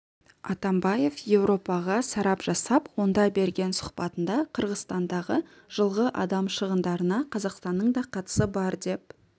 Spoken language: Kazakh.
атамбаев еуропаға сарап жасап онда берген сұхбатында қырғызстандағы жылғы адам шығындарына қазақстанның да қатысы бар деп